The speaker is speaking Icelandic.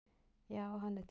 Já, hann er til.